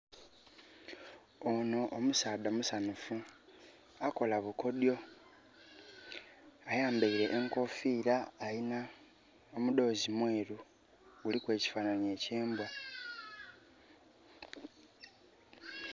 Onho omusaadha musanhufu. Akola bukodyo. Ayambaile enkoofira alina omudhoozi mweru guliku ekifanhanhi eky'embwa.